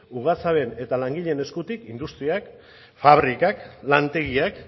ugazaben eta langileen eskutik industriak fabrikak lantegiak